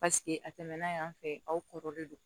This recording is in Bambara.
Paseke a tɛmɛna yan fɛ aw kɔrɔlen don